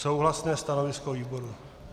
Souhlasné stanovisko výboru.